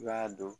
I b'a dɔn